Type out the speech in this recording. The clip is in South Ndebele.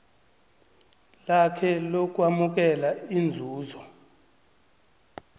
lakhe lokwamukela inzuzo